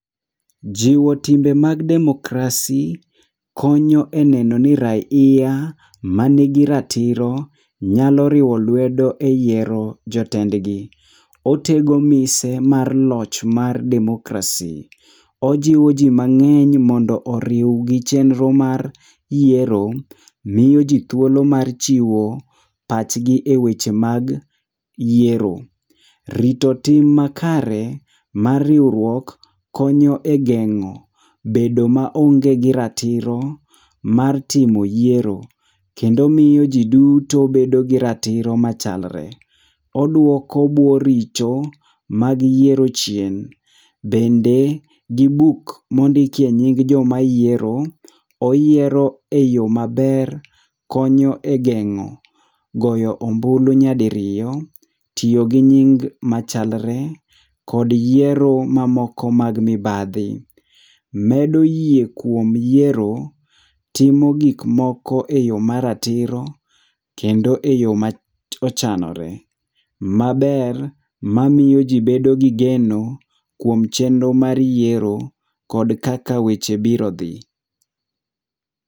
Jiwo timbe mag democracy konyo e neno ni raiya man gi ratiro nyalo riwo lwedo e yiero jotendgi. Otego mise mar loch mar democracy. Ojiwo ji mang'eny mondo oriw gi chenro mar yiero, miyoji thuolo mar chiwo pachgi eweche mag yiero. Rito tim makare mar riwruok konyo e geng'o bedo maonge gi ratiro mar timo yiero. Kendo miyo ji duto bedo gi ratiro machalre. Oduoko bwo richo mag yiero chien. Bende gi buk mondikie nying joma yiero , oyiero eyo maber konyo egeng'o goyo ombulu nyadiriyo, tiyo ginying machalre kod yiero mamoko mag mibadhi. Medo yie kuom yiero, timo gik moko eyo maratiro kendo eyo ma ochanore maber mamiyo ji bedo gi geno kuom chenro mar yiero kod kaka weche biro dhi.